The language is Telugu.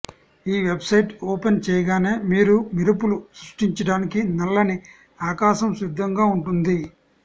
ఈ వెబ్సైట్ ఓపెన్ చేయగానే మీరు మెరుపులు సృష్టించడానికి నల్లని ఆకాశం సిద్ధంగా ఉంటుంది